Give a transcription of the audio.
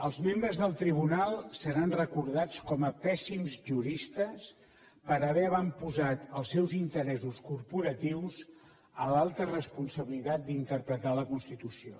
els membres del tribunal seran recordats com a pèssims juristes per haver avantposat els seus interessos corporatius a l’alta responsabilitat d’interpretar la constitució